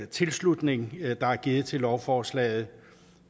tilslutning der er givet til lovforslaget